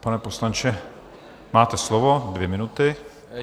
Pane poslanče, máte slovo, dvě minuty.